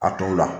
A tɔw la